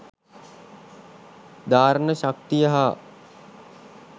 ධාරණ ශක්තිය හා